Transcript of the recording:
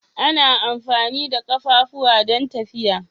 Ana amfani da ƙafafu don tafiya.